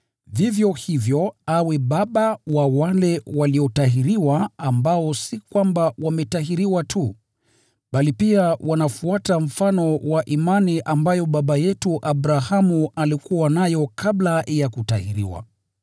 Vivyo hivyo awe baba wa wale waliotahiriwa ambao si kwamba wametahiriwa tu, bali pia wanafuata mfano wa imani ambayo Baba yetu Abrahamu alikuwa nayo kabla ya kutahiriwa.